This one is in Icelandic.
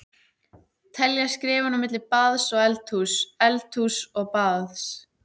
Telja skrefin á milli baðs og eldhúss, eldhúss og baðs.